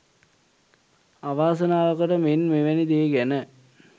අවාසනාවකට මෙන් මෙවැනි දේ ගැන